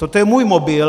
Toto je můj mobil.